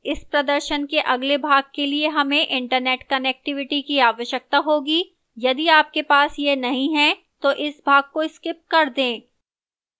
इस प्रदर्शन के अगले भाग के लिए हमें internet connectivity की आवश्यकता होगी यदि आपके पास यह नहीं है तो इस भाग को स्कीप कर दें